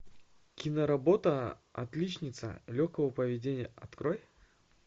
киноработа отличница легкого поведения открой